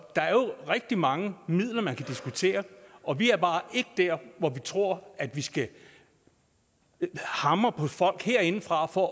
er jo rigtig mange midler man kan diskutere og vi er bare ikke der hvor vi tror at vi skal hamre på folk herindefra for